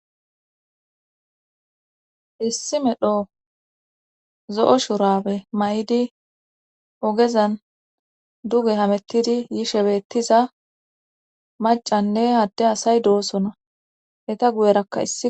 issi medho zo7o shurawe may7idi ogezan duge hamettidi yishebeettiza macanne hadde asay doosona heta guyerakka isi